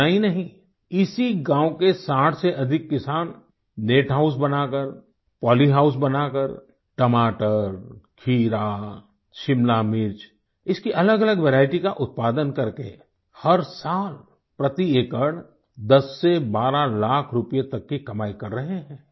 इतना ही नहीं इसी गाँव के 60 से अधिक किसान नेट हाउस बनाकर पोली हाउस बनाकर टमाटर खीरा शिमला मिर्च इसकी अलगअलग वेरिएटी का उत्पादन करके हर साल प्रति एकड़ 10 से 12 लाख रूपये तक की कमाई कर रहें हैं